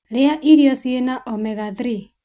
Ria irio cĩĩna omega-3.